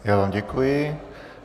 Já vám děkuji.